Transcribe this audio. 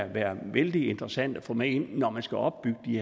være vældig interessante at få med ind når man skal opbygge de